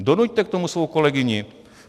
Donuťte k tomu svou kolegyni!